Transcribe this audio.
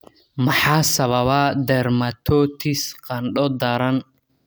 Maxaa sababa dermatosis qandho daran?